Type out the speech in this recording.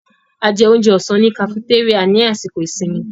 A jẹ oúnjẹ ọ̀sán ní kafutéríà ní àsìkò ìsinmi.